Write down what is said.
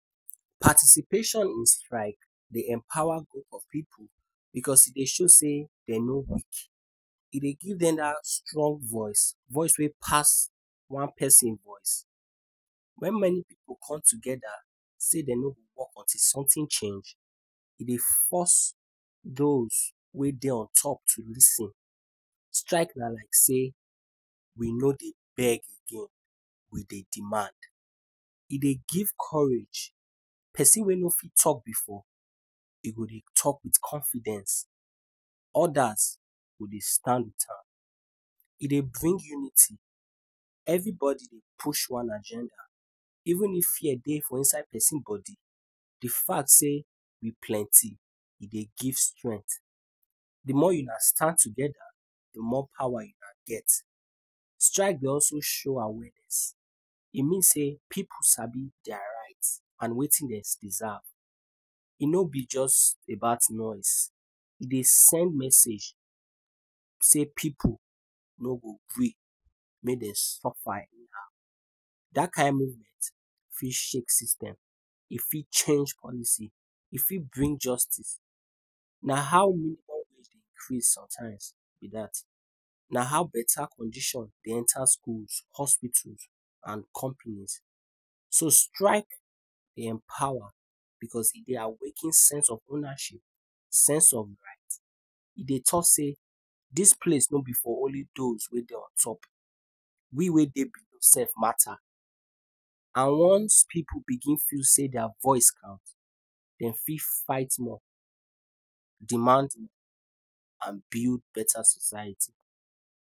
Participation in strike Dey empowa goroup of pipu because e Dey show sey dem no weak, e Dey give dem dat strong voice, voice wey pass one person voice, wen many pipu come togeda sey dem no go work until something change, u Dey force those on top to lis ten, strike na like sey we no Dey beg again we Dey demand, e Dey give courage l, persin wey no fit talk before e go Dey talk with confidence, odas go Dey stand with am, e Dey bring unity, everybody Dey push one agenda even if fear Dey for inside persin body, d fact sey we plenty e Dey give strength, d more una stand togeda d more powa una get, strike Dey also show awareness e mean sey pipu sabi dia right and wetin dem deserve e no b jus about noise, e Dey send message sey pipu no go gree make dem suffa anyhow dat kind movement, fit shake system, e fit change policy, e fit bring justice, na how Dey increase sometimes b dat, na how beta conditions Dey enta schools hospitals, and company. So strike Dey empowa because e Dey awaken sense of ownership, sense of right, e Dey talk sey dis place no b for only those wey Dey ontop, we wey Dey below sef mata and once pipu begin feel sey dia voice count dem fit fight more demanding and build beta society.